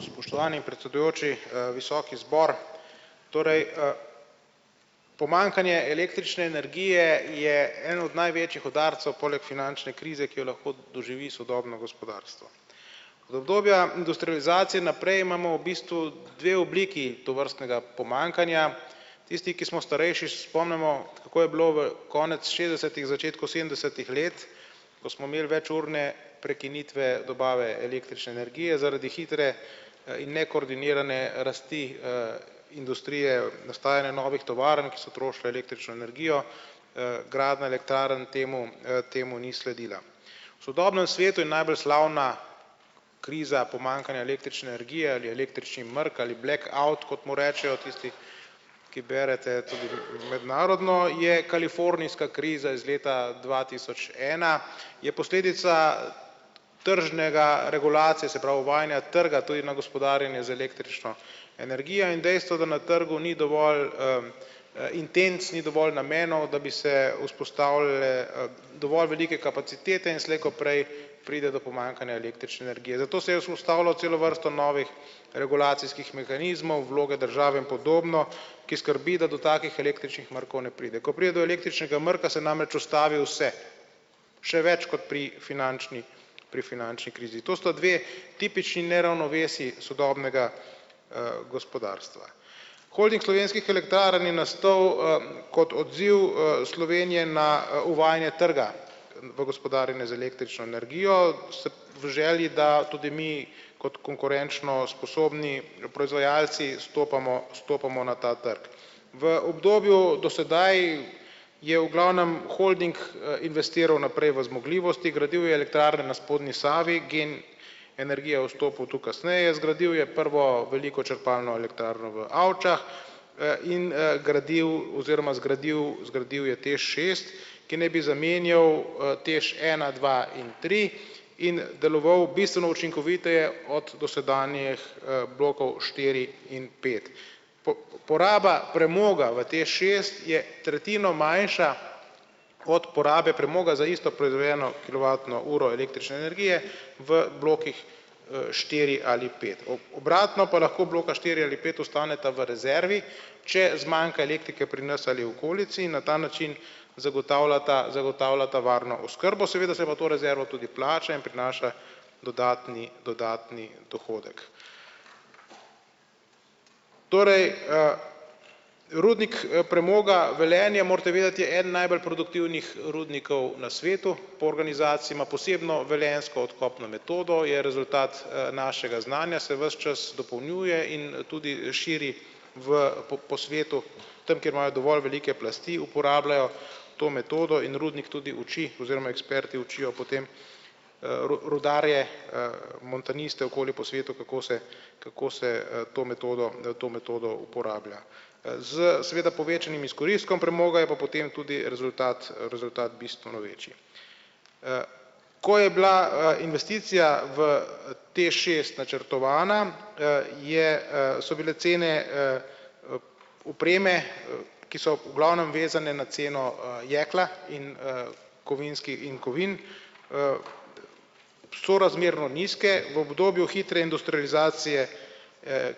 Spoštovani predsedujoči, visoki zbor. Torej, Pomanjkanje električne energije je en od največjih udarcev poleg finančne krize, ki jo lahko doživi sodobno gospodarstvo. Od obdobja industrializacije naprej imamo v bistvu dve obliki tovrstnega pomanjkanja. Tisti, ki smo starejši, se spomnimo, kako je bilo v konec šestdesetih, v začetku sedemdesetih let, ko smo imeli večurne prekinitve dobave električne energije zaradi hitre in nekoordinirane rasti, industrije, nastajanje novih tovarn, ki so trošile električno energijo, gradnja elektrarn temu, temu ni sledila. Sodobnem svetu je najbolj slavna kriza pomanjkanja električne energija ali električni mrk ali black out, kot mu rečejo tisti, ki berete tudi mednarodno, je kalifornijska kriza iz leta dva tisoč ena, je posledica tržnega regulacije, se pravi, vojnega trga tudi na gospodarjenju z električno energijo in dejstvo je, da na trgu ni dovolj, intenc, ni dovolj namenov, da bi se vzpostavile, dovolj velike kapacitete in slej ko prej pride do pomanjkanja električne energije. Zato sem jaz ustavljal celo vrsto novih regulacijskih mehanizmov, vloge države in podobno, ki skrbi, da do takih električnih mrkov ne pride. Ko pride do električnega mrka, se namreč ustavi vse, še več kot pri finančni pri finančni krizi. To sta dve tipični neravnovesji sodobnega, gospodarstva. Holding Slovenskih elektrarn je nastal, kot odziv, Slovenije na uvajanje trga, v gospodarjenju z električno energijo se v želji, da tudi mi kot konkurenčno sposobni proizvajalci stopamo stopamo na ta trg. V obdobju do sedaj je v glavnem holding, investiral naprej v zmogljivosti, gradil je elektrarne na spodnji Savi, Gen energija je vstopil tu kasneje. Zgradil je prvo veliko črpalno elektrarno v Avčah, in, gradil oziroma zgradil, zgradil je TEŠ šest, ki naj bi zamenjal, TEŠ ena, dva in tri in deloval bistveno učinkoviteje od dosedanjih, blokov štiri in pet. poraba premoga v TEŠ šest je tretjino manjša od porabe premoga za isto proizvedeno kilovatno uro električne energije v blokih, štiri ali pet. Obratno pa lahko bloka štiri ali pet ostaneta v rezervi, če zmanjka elektrike pri nas ali okolici, na ta način zagotavljata zagotavljata varno oskrbo. Seveda se pa to rezervo tudi plača in prinaša dodatni, dodatni dohodek. Torej, Rudnik, premoga Velenje, morate vedeti, je eden najbolj produktivnih rudnikov na svetu po organizaciji, ima posebno velenjsko odkopno metodo, je rezultat, našega znanja, se ves čas in tudi širi v po po svetu, tam, kjer imajo dovolj velike plasti, uporabljajo to metodo in rudnik tudi uči oziroma eksperti učijo potem, rudarje, montaniste okoli po svetu, kako se, kako se, to metodo, to metodo uporablja. S seveda povečanim izkoristkom premoga je pa potem tudi rezultat, rezultat bistveno večji. Ko je bila, investicija v TEŠ šest načrtovana, je, so bile cene, opreme, ki so v glavnem vezane na ceno, jekla in, in kovin, sorazmerno nizke. V obdobju hitre industrializacije,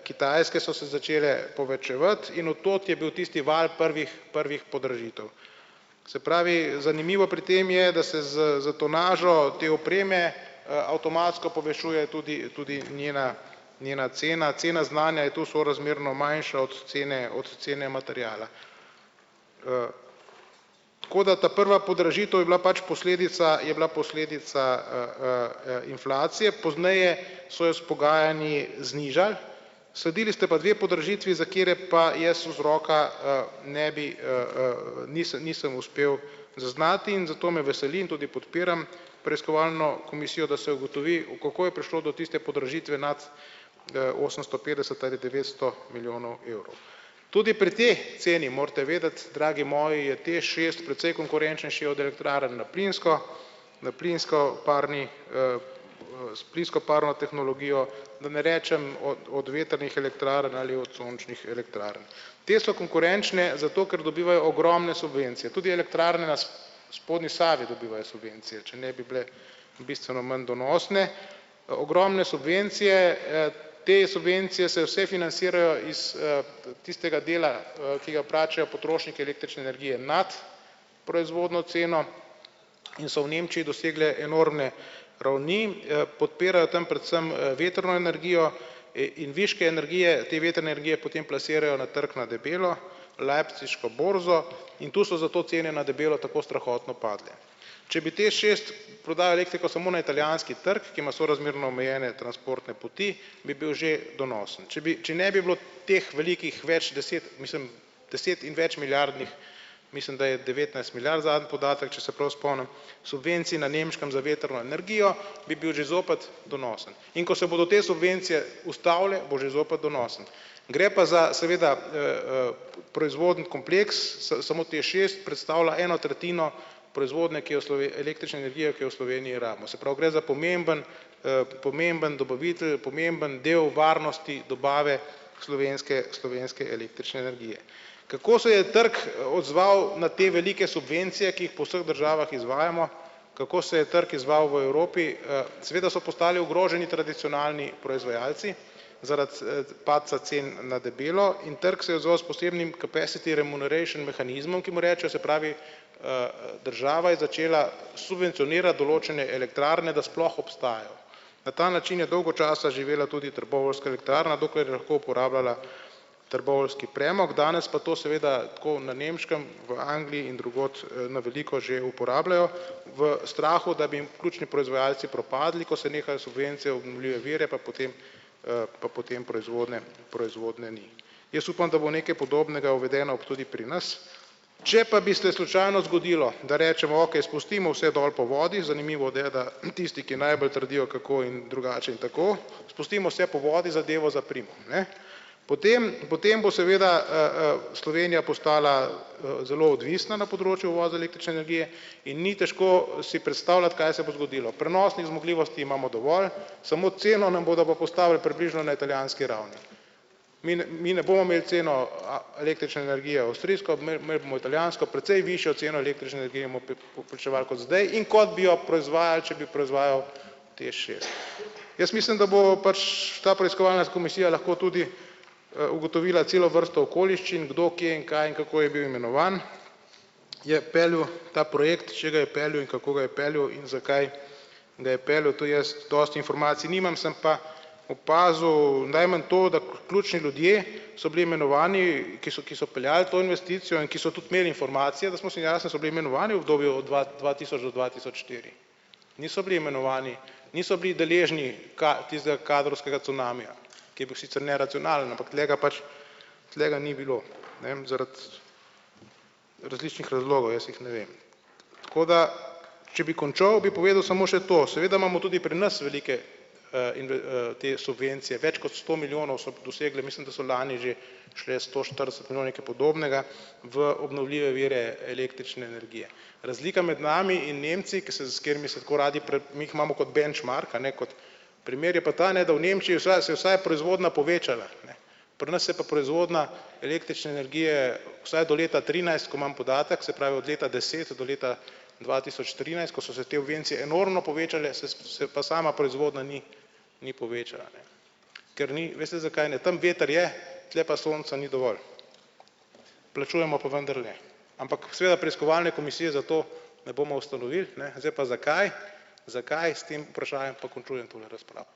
Kitajske so se začele povečevati in od tod je bil tisti val prvih prvih podražitev. Se pravi, zanimivo pri tem je, da se s s tonažo te opreme, avtomatsko povečuje tudi tudi njena njena cena. Cena znanja je tu sorazmerno manjša od cene od cene materiala. Tako da ta prva podražitev je bila pač posledica je bila posledica, inflacije, pozneje so jo s pogajanji znižali, sadili ste pa dve podražitvi, za kateri pa jaz vzroka, ne bi, nisem uspel zaznati in zato me veseli in tudi podpiram preiskovalno komisijo, da se ugotovi u, kako je prišlo do tiste podražitve nad, osemsto petdeset ali devetsto milijonov evrov. Tudi pri tej ceni morate vedeti, dragi moji, je TEŠ šest precej konkurenčnejši od elektrarn na plinsko, na plinsko-parni, s plinsko-parno tehnologijo, da ne rečem o od vetrnih elektrarn ali od sončnih elektrarn. Te so konkurenčne zato, ker dobivajo ogromne subvencije tudi elektrarna spodnji Savi dobivajo subvencije, če ne bi bile bistveno manj donosne. Ogromne subvencije, Te subvencije se vse financirajo iz, tistega dela, ki ga plačajo potrošniki električne energije nad proizvodno ceno in so v Nemčiji dosegle enormne ravni, podpirajo tam predvsem, vetrno energijo, in viške energije te vetrne energije potem plasirajo na trgu na debelo leipziško borzo in tu so zato cene na debelo tako strahotno padle. Če bi TEŠ šest prodal elektriko samo na italijanski trg, ki ima sorazmerno omejene transportne poti, bi bil že donosen, če bi, če ne bi bilo teh velikih več deset, mislim, deset- in večmilijardnih, mislim, da je devetnajst milijard zadnji podatek, če se prav spomnim, subvencij na nemškem za vetrno energijo, bi bil že zopet donosen. In ko se bodo te subvencije ustavile, bo že zopet donosen. Gre pa za seveda, proizvodni kompleks samo TEŠ šest predstavlja eno tretjino proizvodnje, ki v električne energije, ki jo v Sloveniji rabimo. Se pravi, gre za pomembno, pomemben dobavitelj, pomemben del varnosti dobave slovenske slovenske električne energije. Kako se je trg odzval na te velike subvencije, ki jih po vseh državah izvajamo? Kako se je trg izzval v Evropi? Seveda so postali ogroženi tradicionalni proizvajalci zaradi, padca cen na debelo in trg se je zelo posebnim capacity remuneration mehanizmom, ki mu rečejo, se pravi, država je začela subvencionirat določene elektrarne, da sploh obstajajo. Na ta način je dolgo časa živela tudi trboveljska elektrarna, dokler je lahko uporabljala trboveljski premog, danes pa to seveda tako na nemškem, v Angliji in drugod, na veliko že uporabljajo v strahu, da bi jim ključni proizvajalci propadli, ko se nehajo subvencije obnovljive vire, pa potem, pa potem proizvodnje proizvodnje ni. Jaz upam, da bo nekaj podobnega uvedeno tudi pri nas. Če pa bi se slučajno zgodilo, da rečemo: "Okej spustimo vse dol po vodi." Zanimivo je, da tisti, ki najbolj trdijo, kako in drugače in tako, spustimo se po vodi, zadevo zaprimo. Ne. Potem potem bo seveda, Slovenija postala, zelo odvisna na področju uvoza električne energije in ni težko si predstavljati, kaj se bo zgodilo. Prenosnih zmogljivosti imamo dovolj, samo ceno nam bodo pa postavili približno na italijanski ravni. Mi mi ne bomo imeli ceno a električne energije avstrijsko, imeli imeli bomo italijansko, precej višjo ceno električne energije vplačevali kot zdaj, in kot bi jo proizvajali, če bi proizvajal TEŠ šest. Jaz mislim, da bo pač ta preiskovalna komisija lahko tudi, ugotovila celo vrsto okoliščin kdo, kje, kaj in kako je bil imenovan, je peljal ta projekt, če ga je peljal in kako ga je peljal in zakaj ga je peljal, to jaz dosti informacij nimam, sem pa opazil najmanj to, da ključni ljudje so bili imenovani, ki so ki so peljali to investicijo in ki so tudi imeli informacije, so bili imenovani v obdobju dva dva tisoč do dva tisoč štiri. Niso bili imenovani, niso bili deležni tistega kadrovskega cunamija, ki je bil sicer neracionalen, ampak tule ga pač, tule ga ni bilo. Ne zaradi različnih razlogov, jaz jih ne vem. Tako da če bi končal, bi povedal samo še to, seveda imamo tudi pri nas velike, te subvencije, več kot sto milijonov so dosegle, mislim, da so lani že šle sto štirideset nekaj podobnega v obnovljive vire električne energije. Razlika med nami in Nemci, ki se s katerimi se tako radi mi jih imamo kot benchmark, a ne, kot primer je pa ta, ne, da v Nemčiji se vsaj proizvodnja povečala, ne, pri nas se pa proizvodnja električne energije vsaj do leta trinajst, ko imam podatek, se pravi, od leta deset do leta dva tisoč trinajst, ko so se te subvencije enormno povečale, se pa sama proizvodnja ni, ni povečala, ne. Ker ni, veste, zakaj ne? Tam veter je, tule pa sonca ni dovolj. Plačujemo pa vendarle, ampak seveda preiskovalne komisije za to ne bomo ustanovili, ne, zdaj pa zakaj zakaj s tem vprašanjem pa končujem tole razpravo.